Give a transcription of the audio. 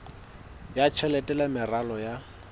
ya tjhelete le meralo ya